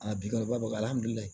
A bi kɔrɔba